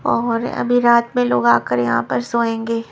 और अभी रात में लोग आकर यहाँ पर सोएंगे --